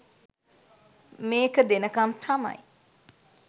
මේක දෙනකම් තමයි.